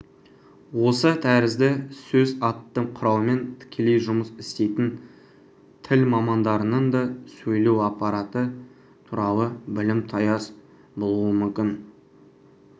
осы тәрізді сөз атты құралмен тікелей жұмыс істейтін тіл мамандарының да сөйлеу аппараты туралы білімі таяз болуы мүмкін